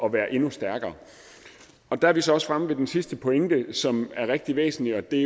at være endnu stærkere der er vi så også fremme ved den sidste pointe som er rigtig væsentlig og det